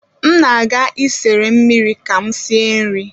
M na-aga isere mmiri ka m sie nri